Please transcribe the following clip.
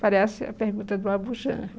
Parece a pergunta do Abujamra.